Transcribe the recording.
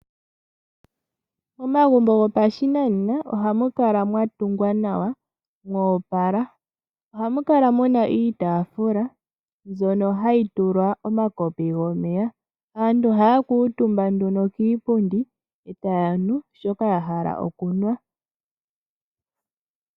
Momagumbo gopashinanena, ohamu kala mwa tungwa nawa mwo opala. Ohamu kala mu na iitaafula mbyono hayi tulwa omakopi gomeya. Aantu ohaya kuutumba nduno kiipundi e taya nu shoka ya hala okunwa.